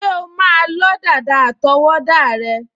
Ṣé o o máa lọ́ dàda àtọwọ́wọ́ rẹ?